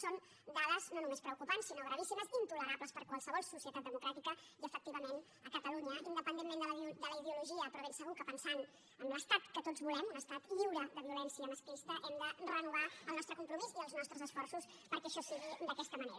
són dades no només preocupants sinó gravíssimes intolerables per qualsevol societat democràtica i efectivament a catalunya independentment de la ideologia però ben segur que pensant en l’estat que tots volem un estat lliure de violència masclista hem de renovar el nostre compromís i els nostres esforços perquè això sigui d’aquesta manera